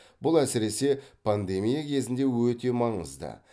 бұл әсіресе пандемия кезінде өте маңызды